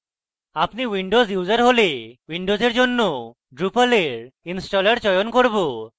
আপনি windows user হলে windows জন্য drupal এর installer চয়ন করব